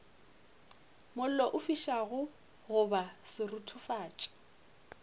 mollo o fišago goba seruthufatši